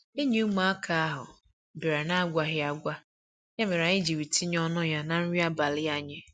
Enyi ụmụaka ahụ bịara n'agwaghi agwa, ya mere anyị jiri tinye ọnụ ya na nri abalị anyị.